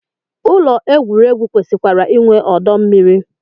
Ụlọ egwuregwu kwesịkwara inwe ọdọ mmiri